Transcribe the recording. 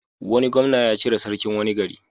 Wani gwamna ya cire sarkin wani gari.